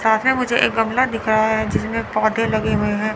सामने मुझे एक गमला दिख रहा है जिसमें पौधे लगे हुए हैं।